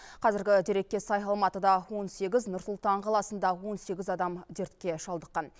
қазіргі дерекке сай алматыда он сегіз нұр сұлтан қаласында он сегіз адам дертке шалдыққан